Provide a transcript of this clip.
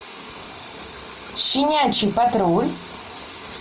щенячий патруль